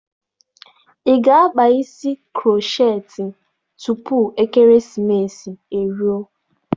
Ị ga-akpa isi krocheetị tupu ekeresimesi e ruo